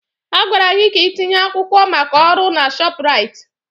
A gwara gị ka ị tinye akwụkwọ maka ọrụ na Shopraịt!